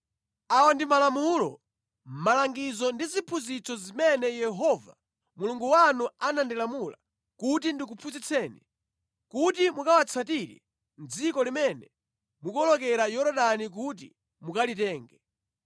Awa ndi malamulo, malangizo ndi ziphunzitso zimene Yehova Mulungu wanu anandilamula kuti ndikuphunzitseni kuti mukawatsatire mʼdziko limene mukuwolokera Yorodani kuti mukalitenge,